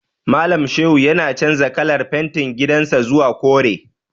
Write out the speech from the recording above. Malam Shehu yana canza kalar fentin gidan sa zuwa kore.